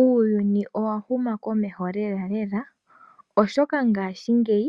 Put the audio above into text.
Uuyuni owa huma komeho lelalela oshoka gaashingeyi